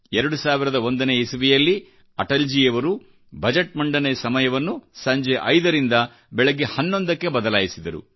2001 ನೇ ಇಸವಿಯಲ್ಲಿ ಅಟಲ್ಜಿಯವರು ಬಜೆಟ್ ಮಂಡನೆ ಸಮಯವನ್ನು ಸಂಜೆ 5 ರಿಂದ ಬೆಳಿಗ್ಗೆ11 ಕ್ಕೆ ಬದಲಾಯಿಸಿದರು